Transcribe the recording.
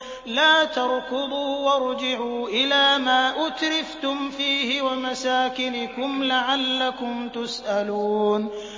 لَا تَرْكُضُوا وَارْجِعُوا إِلَىٰ مَا أُتْرِفْتُمْ فِيهِ وَمَسَاكِنِكُمْ لَعَلَّكُمْ تُسْأَلُونَ